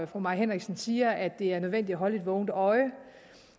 fru mai henriksen siger at det er nødvendigt at holde et vågent øje